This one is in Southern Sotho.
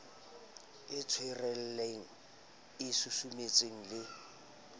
e tshwarellang e susumetsang le